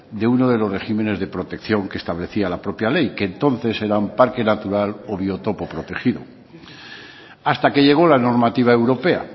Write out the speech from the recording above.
de uno de los regímenes de protección que establecía la propia ley que entonces eran parque natural o biotopo protegido hasta que llegó la normativa europea